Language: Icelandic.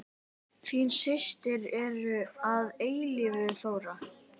Þín systir að eilífu, Þóra.